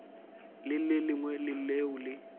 le le lengwe leo le